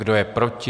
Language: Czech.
Kdo je proti?